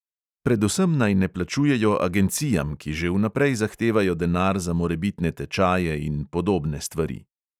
Predvsem naj ne plačujejo agencijam, ki že vnaprej zahtevajo denar za morebitne tečaje in podobne stvari.